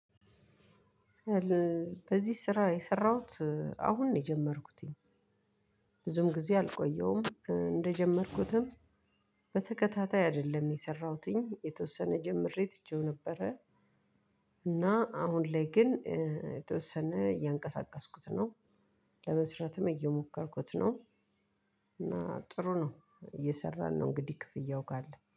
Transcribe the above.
በዚህ ስራ የሰራሁት አሁን ነው የጀመርኩትኝ። ብዙም ጊዜ አልቆየሁም እንደጀመርኩትም በተከታታይ አይደለም የሰራሁትኝ የተወሰነ ጀምሬ ትቼው ነበረ። እና አሁን ላይ ግን የተወሰነ እያንቀሳቀስኩት ነው። ለመስራትም እየሞከርኩት ነው። እና ጥሩ ነው እየሰራን ነው እንግዲህ ክፍያው ካለ